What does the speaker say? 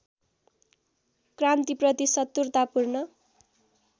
क्रान्तिप्रति शत्रुतापूर्ण